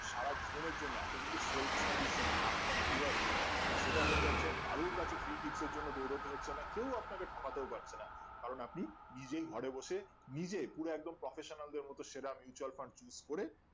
সারা জীবনের জন্য আপনি কিন্তু self বা recent আত্মনির্ভর যেটা সেটা হয়ে যাচ্ছেন কারোর কাছে দৌড়াতে হচ্ছে না কেউ আপনাকে ঠকাতে পারবেনা কারণ আপনি নিজেই ঘরে বসে নিজে পুরো একদম professional দের মতো সেরা mutual Fund use করে